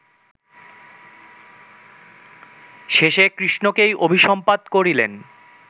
শেষে কৃষ্ণকেই অভিসম্পাত করিলেন